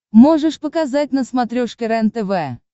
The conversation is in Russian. можешь показать на смотрешке рентв